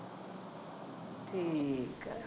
ਠੀਕ ਆ